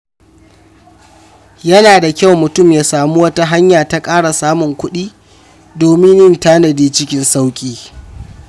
Yana da kyau mutum ya samu wata hanya ta ƙara samun kuɗi domin yin tanadi cikin sauƙi.